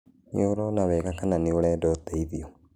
Nĩũrona wega kana nĩ ũrenda ũteithio